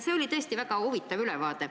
See oli tõesti väga huvitav ülevaade.